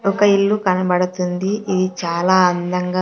ఒక ఇల్లు కనబడుతుంది ఇది చాలా అందంగా.